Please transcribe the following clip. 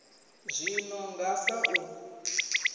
zwi no nga sa u